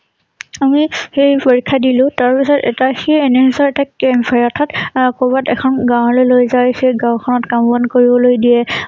আমি হেই পৰীক্ষা দিলোঁ তাৰ পিছত সেই NSS ৰ এটা camp হয় অৰ্থাৎ আ কৰবাত এখন গাঁৱলৈ লৈ যায় সেই গাওঁ খনত কাম বন কৰিবলৈ দিয়ে